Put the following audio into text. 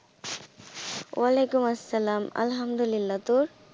ওয়ালাইকুম আসসালাম আলহামদুল্লিহা তোর?